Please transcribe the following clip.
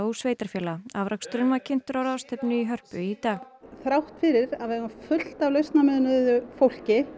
sveitarfélaga afraksturinn var kynntur á ráðstefnu í Hörpu í dag þrátt fyrir að við eigum fullt af lausnamiðuðu fólki